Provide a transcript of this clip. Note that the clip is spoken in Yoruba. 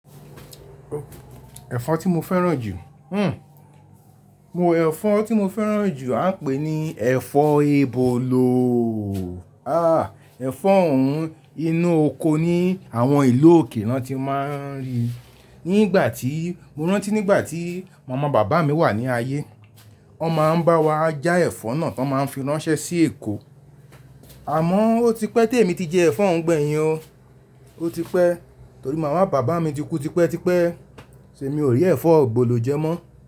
Ẹ̀fọ́ tí mo fẹ́ràn jù? Mo, ẹ̀fọ́ tí mo fẹ́ràn jù à ń pè ní ẹ̀fọ́ ebolo. Ah, ẹ̀fọ́ ọ̀hún inú oko ni àwọn ìlú òkè náà ti máa ń rí. Ní ìgbà tí, mo rántí ní ìgbà tí màmá bàbá mi wà ní ayé, wọn máa ń bá wa já ẹ̀fọ́ náà tón máa ń fi ránṣẹ́ sí Èkó. Àmọ́, ó ti pẹ́ tí èmi ti jẹ ẹ̀fọ́ ọ̀hún gbẹ̀yìn o. Ó ti pẹ́, torí màmá bàbá mi ti kú tipẹ́ tipẹ́, so emi ò rí ẹ̀fọ́ ebọ̀lọ̀ jẹ mọ́.